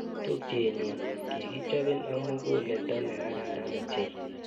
Tupchenyu, kikichopin ak muguleldo ne kararan ochei.